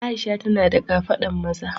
Aisha tana da kafadan maza.